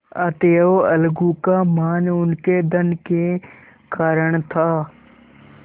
अतएव अलगू का मान उनके धन के कारण था